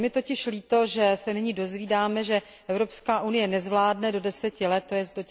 Je mi totiž líto, že se nyní dozvídáme, že Evropská unie nezvládne do deseti let, tj.